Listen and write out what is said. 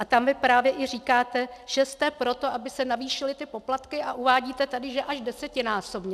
A tam vy právě i říkáte, že jste pro to, aby se navýšily poplatky, a uvádíte tady, že až desetinásobně.